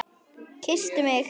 Kysstu mig!